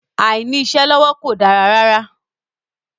Àìní-iṣẹ́ lọ́wọ́ kò dára rárá.